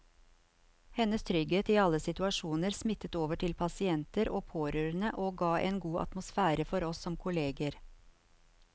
Hennes trygghet i alle situasjoner smittet over til pasienter og pårørende og ga en god atmosfære for oss som kolleger.